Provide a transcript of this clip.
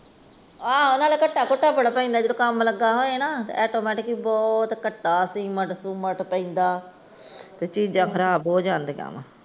ਆ ਨਾਲੇ ਤੁਹਾਡੇ ਵਾਲੇ ਪਾਸੇ ਕੰਮ ਲੱਗਾ ਹੋਇਆ ਨਾ। ਧੂੜ ਘੱਟ ਸੀਮੰਟ ਸੁਮੇਨਟ ਪੈਂਦਾ ਤੇ ਚੀਜ਼ਾਂ ਬਹੁਤ ਖਰਾਬ ਹੋ ਜਾਂਦੀਆਂ।